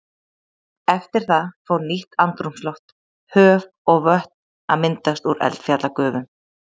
Eftir það fór nýtt andrúmsloft, höf og vötn að myndast úr eldfjallagufum.